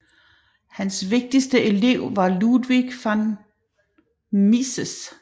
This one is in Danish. Hans vigtigste elev var Ludwig von Mises